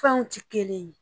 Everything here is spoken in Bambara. Furaw ti kelen ye